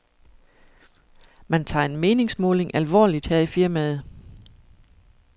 Man tager en meningsmåling alvorligt her i firmaet.